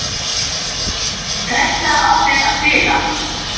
Pressa á mér að spila